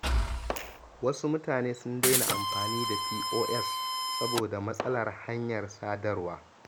Wasu mutane sun daina amfani da POS saboda matsalar hanyar sadarwa.